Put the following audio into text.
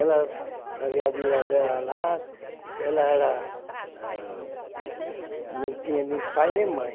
Ela fazia a vida dela lá, porque ela era ãh não tinha nem pai nem mãe.